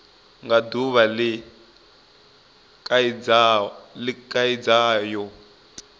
nga duvha le khaidzo yo